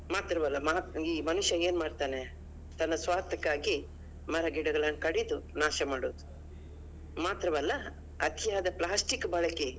ಮಾತ್ರವಲ್ಲಾ ಮಹಾ ಈ ಮನುಷ್ಯ ಏನ್ಮಾಡತಾನೆ? ತನ್ನ ಸ್ವಾರ್ಥಕ್ಕಾಗಿ ಮರಗಿಡಗಳನ್ನು ಕಡಿದು ನಾಶ ಮಾಡುವುದು ಮಾತ್ರವಲ್ಲಾ ಅತಿಯಾದ plastic ಬಳಕೆ.